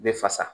Bɛ fasa